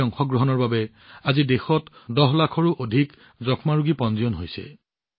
এই অংশগ্ৰহণৰ বাবে আজি দেশত ১০ লাখৰো অধিক যক্ষ্মা ৰোগী পঞ্জীয়ন হৈছে